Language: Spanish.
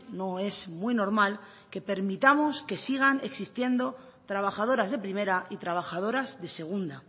no es muy normal que permitamos que sigan existiendo trabajadoras de primera y trabajadoras de segunda